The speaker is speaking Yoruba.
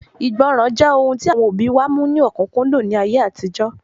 Ìgbọràn jẹ́ ohun tí àwọn òbí wa mú ní ọ̀kúnkúndùn ní ayé àtijọ́